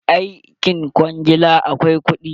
Aikin kwangila akwai kuɗi.